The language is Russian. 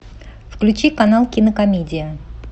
включи канал кинокомедия